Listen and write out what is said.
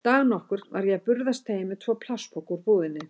Dag nokkurn var ég að burðast heim með tvo plastpoka úr búðinni.